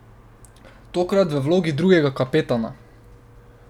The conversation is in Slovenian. Tokrat v vlogi drugega kapetana.